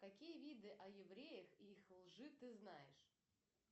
какие виды о евреях и их лжи ты знаешь